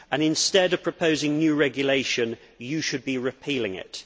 Instead of proposing new regulation you should be repealing it.